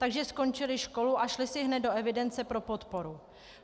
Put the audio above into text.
Takže skončili školu a šli si hned do evidence pro podporu.